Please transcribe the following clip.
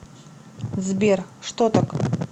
сбер что так